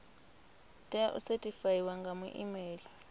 tea u sethifaiwa nga muimeli